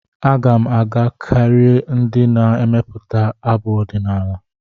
Aga m aga kirie ndị na-emepụta abụ ọdịnala.